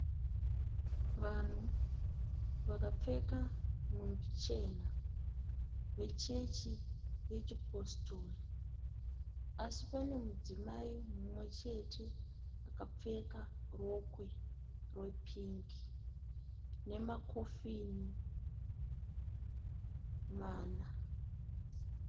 Vanhu vakapfeka nhumbi chena vechechi yechipositori, asi pane mudzimai mumwe chete akapfeka rokwe repingi nemakofini mana.